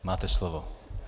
Máte slovo.